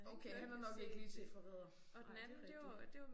Okay han har nok ikke lige set Forræder. Nej det rigtigt